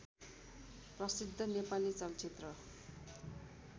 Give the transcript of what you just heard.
प्रसिद्ध नेपाली चलचित्र